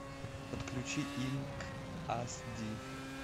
подключи инк ас ди